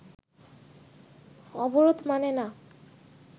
অবরোধ মানে না